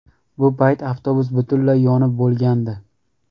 Bu payt avtobus butunlay yonib bo‘lgandi.